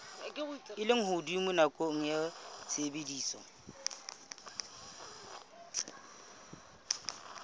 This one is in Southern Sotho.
a lehodimo nakong ya tshebediso